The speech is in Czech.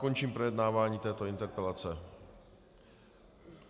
Končím projednávání této interpelace.